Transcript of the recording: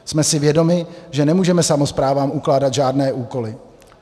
Jsme si vědomi, že nemůžeme samosprávám ukládat žádné úkoly.